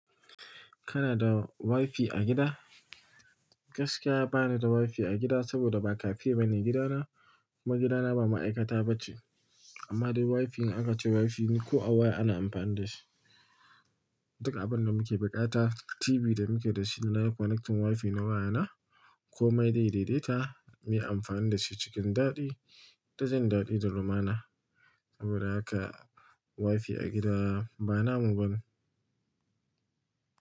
Kana da WiFi a gida? Gaskiya ba ni da WiFi a gida saboda ba cafe bane gidana kuma gidana ba ma'aikata ba ce. Amma dai WiFi in aka ce WiFi ne, ko a waya ana amfani da shi. Duk abun da muke bukata, TV da muke da shi na yi connecting WiFi na wayana. Komai zai daidaita, muyi amfani da shi cikin daɗi. Ta jin daɗi da lumana. Saboda haka WiFi a gida ba namu bane.